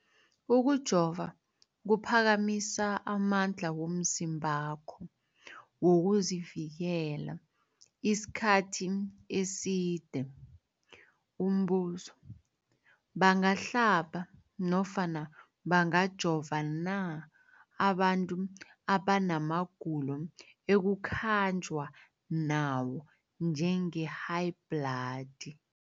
Ukujova kuphakamisa amandla womzimbakho wokuzivikela isikhathi eside. Umbuzo, bangahlaba nofana bangajova na abantu abanamagulo ekukhanjwa nawo, njengehayibhladi?